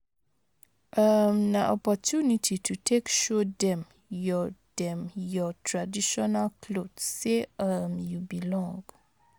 um Na opportunity to take show dem yur dem yur traditional cloth sey um you belong